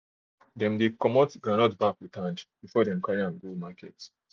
dem dey remove groundnut back with hand before dem carry am go market